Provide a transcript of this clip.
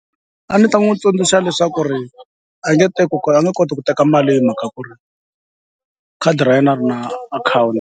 A ni ta n'wi tsundzuxa leswaku ri a nge teki a nge koti ku teka mali hi mhaka ku ri khadi ra yena a ri na .